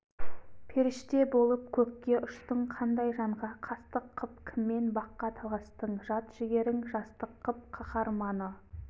періште болып көкке ұштың қандай жанға қастық қып кіммен баққа таластың жат жігерің жастық қып қаһарманы